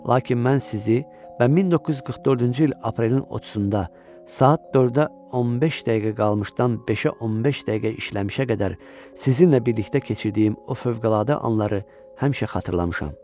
Lakin mən sizi və 1944-cü il aprelin 30-u saat 4-ə 15 dəqiqə qalmışdan 5-ə 15 dəqiqə işləmişə qədər sizinlə birlikdə keçirdiyim o fövqəladə anları həmişə xatırlamışam.